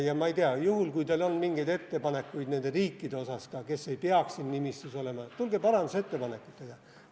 Ma ei tea, juhul, kui teil on mingeid ettepanekuid nende riikide osas, mis ei peaks siin nimistus olema, tulge parandusettepanekutega.